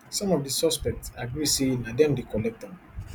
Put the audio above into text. some of di suspects agree say na dem dey collect am